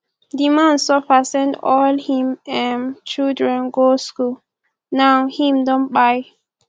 di man suffer send all him um children go skool now him don kpai